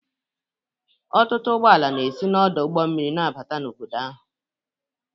Ọtụtụ ụgbọ ala na-esi n'ọdụ ụgbọ mmiri na-abata obodo ahụ